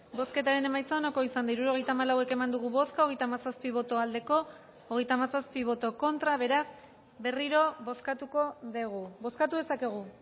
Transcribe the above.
bozketaren emaitza onako izan da hirurogeita hamalau eman dugu bozka hogeita hamazazpi boto aldekoa treinta y siete contra beraz berriro bozkatuko dugu bozkatu dezakegu